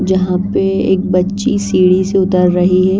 जहाँ पे एक बच्ची सीढ़ी से उतर रही है।